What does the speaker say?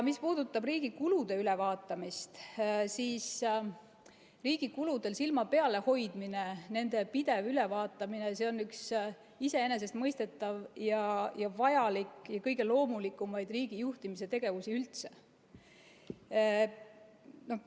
Mis puudutab riigi kulude ülevaatamist, siis riigi kuludel silma peal hoidmine, nende pidev ülevaatamine on üks iseenesestmõistetavaid, vajalikke ja kõige loomulikumaid riigi juhtimise tegevusi üldse.